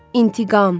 İntiqam!